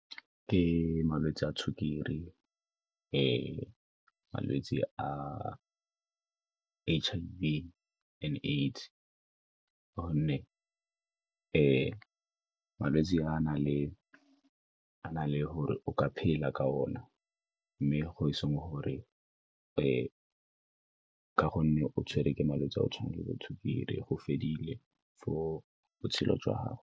Ke malwetse a sukiri le malwetse, H_I_V and AIDS-e ka gonne malwetse a na le gore o ka phela ka ona mme e seng gore ka gonne o tshwere ke malwetse a go tshwana le bo sukiri go fedile for botshelo jwa gago.